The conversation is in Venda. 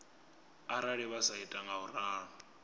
arali vha sa ita ngauralo